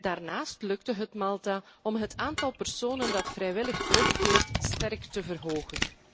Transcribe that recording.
Daarnaast lukte het Malta om het aantal personen dat vrijwillig terugkeert sterk te verhogen.